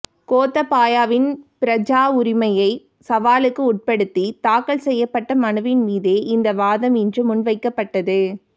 கோத்தபாயவின் பிரஜாவுரிமையை சவாலுக்கு உட்படுத்தி தாக்கல் செய்யப்பட்ட மனுவின் மீதே இந்த வாதம் இன்று முன்வைக்கப்பட்டது